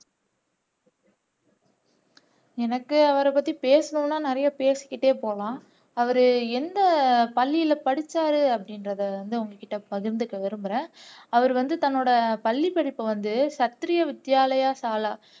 எனக்கு அவரைப்பத்தி பேசணும்னா நிறைய பேசிக்கிட்டே போலாம் அவர் எந்த பள்ளியில படிச்சார் அப்படின்றதை வந்து உங்ககிட்ட பகிர்ந்துக்க விரும்புறேன் அவர் வந்து தன்னோட பள்ளிப்படிப்பை வந்து சத்ரிய வித்யாலயா சாலா